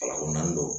Alako naani don